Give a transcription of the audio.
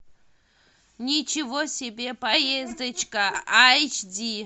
ничего себе поездочка айч ди